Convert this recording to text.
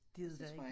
Det er det da ik